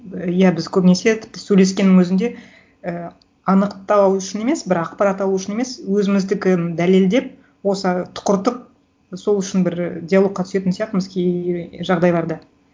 иә біз көбінесе тіпті сөйлескеннің өзінде ііі анықтау үшін емес бір ақпарат алу үшін емес өзіміздікін дәлелдеп осы тұқыртып сол үшін бір і диалогқа түсетін сияқтымыз кей жағдайларда